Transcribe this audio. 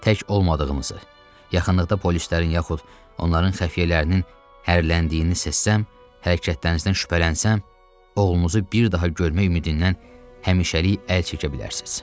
Tək olmadığınızı, yaxınlıqda polislərin yaxud onların xəfiyələrinin hərləndiyini səssəm, hərəkətlərinizdən şübhələnsəm, oğlunuzu bir daha görmək ümidindən həmişəlik əl çəkə bilərsiniz.